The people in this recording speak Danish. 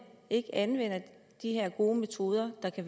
ikke anvender de her gode metoder der